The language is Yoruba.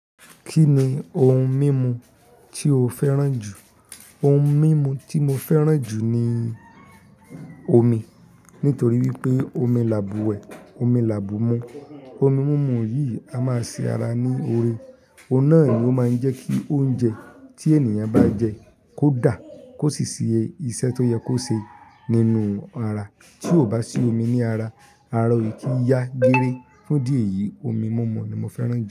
Kí ni ohun mímu tí o fẹ́ràn jù? Ohun mímu tí mo fẹ́ràn jù ni omi. Nítorí wípé omi làbùwẹ̀, omi làbù mú. Omi mímu yìí a máa ṣe ara ní oore. Ohun náà ó ma ń jẹ́ kí oúnjẹ tí ènìyàn bá jẹ kó dàá kó sì ṣe iṣẹ́ tó yẹ kó ṣe nínú ara. Tí o bá sí omi ní ara, arọ o kì í yá gére. Fún ìdí èyìí, omi mímu ni mo fẹ́ràn jù.